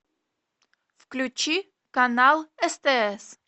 включи канал стс